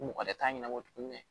Mɔgɔ wɛrɛ t'a ɲɛnabɔ tuguni